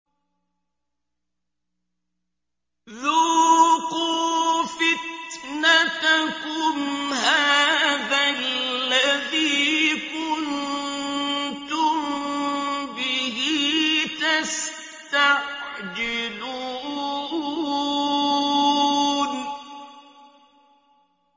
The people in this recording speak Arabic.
ذُوقُوا فِتْنَتَكُمْ هَٰذَا الَّذِي كُنتُم بِهِ تَسْتَعْجِلُونَ